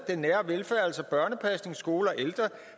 altså børnepasning skole og ældre